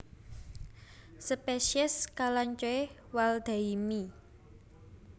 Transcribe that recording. Spesies Kalanchoe waldheimii